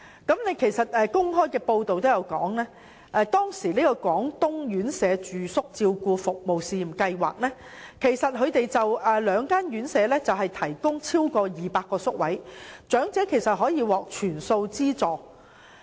當時的公開報道亦指出，廣東院舍住宿照顧服務試驗計劃下的兩間院舍共提供超過200個宿位，長者可獲全數資助。